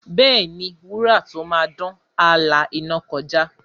Bẹ́ẹ̀ni, wúrà tó máa dán, á la iná kọjá.